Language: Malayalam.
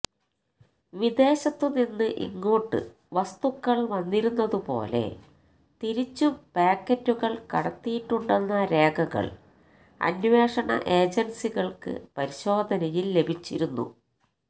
വിദേശത്തുനിന്ന് ഇങ്ങോട്ട് വസ്തുക്കള് വന്നിരുന്നതുപോലെ തിരിച്ചും പായ്ക്കറ്റുകള് കടത്തിയിട്ടുണ്ടെന്ന രേഖകള് അന്വേഷണ ഏജന്സികള്ക്ക് പരിശോധനയില് ലഭിച്ചിരുന്നു